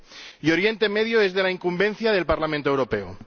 Y Oriente Medio es de la incumbencia del Parlamento Europeo.